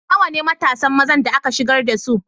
Nawa ne matasan mazan da aka shigar da su?